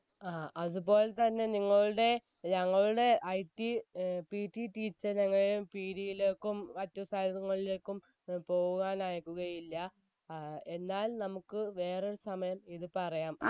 ആ അതുപോലെതന്നെ നിങ്ങളുടെ ഞങ്ങളുടെ IT ഏർ PT teacher ഞങ്ങളെ പീടിലേക്കും മറ്റു side ങ്ങളിലേക്കും ഏർ പോകുവാൻ അയക്കുകയില്ല ഏർ എന്നാൽ നമ്മുക്ക് വേറൊരു സമയം ഇത് പറയാം